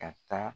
Ka taa